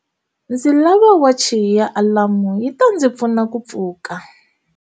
Ndzi lava wachi ya alamu yi ta ndzi pfuna ku pfuka.